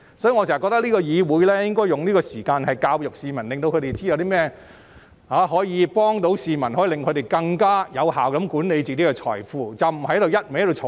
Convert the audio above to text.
所以，我覺得議會應該花時間教育市民，令他們知道甚麼可以幫助他們更有效管理財富，而不是只顧漫罵。